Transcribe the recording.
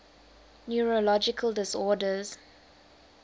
neurological disorders